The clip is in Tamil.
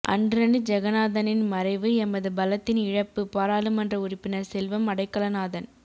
அன்ரனி ஜெகநாதனின் மறைவு எமது பலத்தின் இழப்பு பாராளுமன்ற உறுப்பினர் செல்வம் அடைக்கலநாதன்